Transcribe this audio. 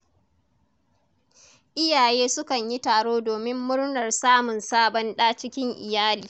Iyaye sukan yi taro domin murnar samun sabon ɗa cikin iyali.